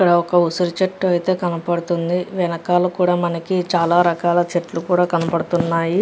ఇక్కడ ఒక ఉసిరి చెట్టు అయితే కనపడుతుంది వెనకాల కూడా మనకి చాలా రకాల చెట్లు కూడా కనపడుతున్నాయి.